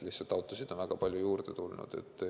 Lihtsalt autosid on väga palju juurde tulnud.